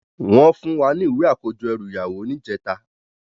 Wòn fún wá ni iwé àkójò èrú iyàwó nijètá